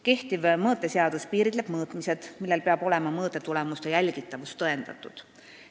Kehtiv mõõteseadus piiritleb mõõtmised, millel peab olema mõõtetulemuste jälgitavus tõendatud.